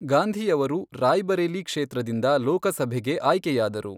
ಗಾಂಧಿಯವರು ರಾಯ್ ಬರೇಲಿ ಕ್ಷೇತ್ರದಿಂದ ಲೋಕಸಭೆಗೆ ಆಯ್ಕೆಯಾದರು.